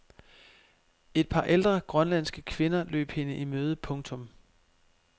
Et par ældre grønlandske kvinder løb hende i møde. punktum